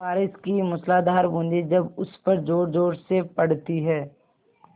बारिश की मूसलाधार बूँदें जब उस पर ज़ोरज़ोर से पड़ती हैं